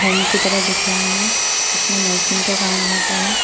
Home की तरह दिख रहा है इसमें नर्सिंग का काम होता है।